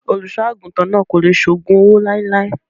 Olùṣọ́ àgùntàn náà kò lè ṣe ògùn owó láéláé.